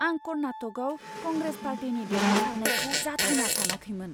आं कर्नाटकआव कंग्रेस पार्टीनि देरहासारनायखौ जाथावना सानाखैमोन!